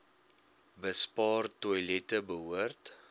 bespaar toilette behoort